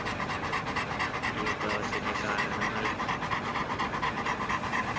ഈ വിപ്ലവത്തിന്റെ കാരണങ്ങൾ